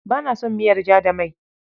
Ba na son miyar ja da mai.